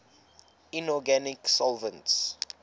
inorganic solvents